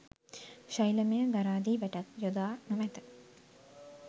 ශෛලමය ගරාදි වැටක් යොදා නොමැත.